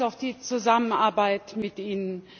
Wir freuen uns auf die Zusammenarbeit mit Ihnen!